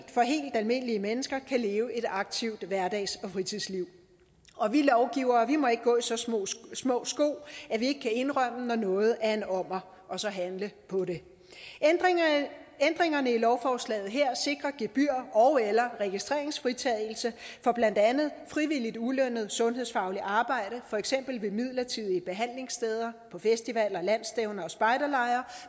almindelige mennesker kan leve et aktivt hverdags og fritidsliv og vi lovgivere må ikke gå i så små små sko at vi ikke kan indrømme når noget er en ommer og så handle på det ændringerne i lovforslaget her sikrer gebyr ogeller registreringsfritagelse for blandt andet frivilligt ulønnet sundhedsfagligt arbejde for eksempel ved midlertidige behandlingssteder på festivaler landsstævner og spejderlejre